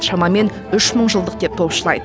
шамамен үшмыңжылдық деп топшылайды